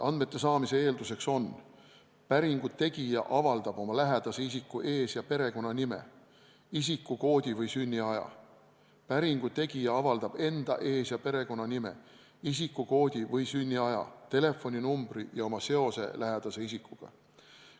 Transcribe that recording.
Andmete saamise eeldused on järgmised: päringu tegija avaldab oma lähedase isiku ees- ja perekonnanime, isikukoodi või sünniaja, päringu tegija avaldab enda ees- ja perekonnanime, isikukoodi või sünniaja, telefoninumbri ja oma seose lähedase isikuga.